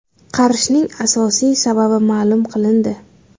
Qarishning asosiy sababi ma’lum qilindi.